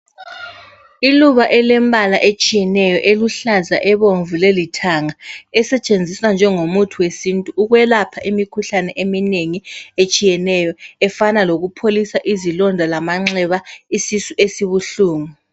Iluba elembala etshiyeneyo eluhlaza ,ebomvu leli thanga esetshenziswa njengomuthi wesintu ukwelapha imikhuhlane eminengi etshiyeneyo efana loku pholisa izilonda lamanxeba ,isisu esibuhlungu.